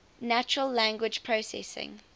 natural language processing